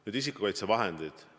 Nüüd isikukaitsevahendid.